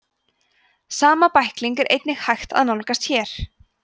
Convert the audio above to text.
sama bækling er einnig hægt að nálgast hér